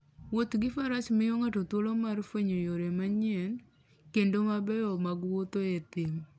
Wuoth gi faras miyo ng'ato thuolo mar fwenyo yore manyien, kendo mabeyo mag wuotho e thim.